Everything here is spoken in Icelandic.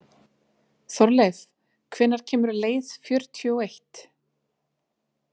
Þorleif, hvenær kemur leið fjörutíu og eitt?